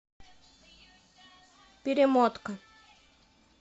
перемотка